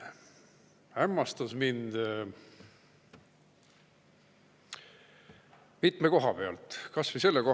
See hämmastas mind mitmes.